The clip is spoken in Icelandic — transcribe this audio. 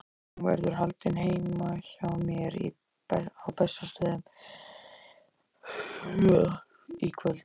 Hún verður haldin heima hjá mér á Bessastöðum í kvöld.